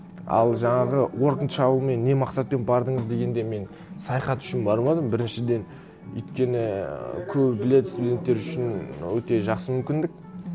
ал жаңағы уорк энд шалумен не мақсатпен бардыңыз дегенде мен саяхат үшін бармадым біріншіден өйткені көбі біледі студенттер үшін өте жақсы мүмкіндік